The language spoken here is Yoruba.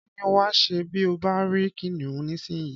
Kí ni wà á ṣe bí ó bá rí Kìnìún nísinyìí?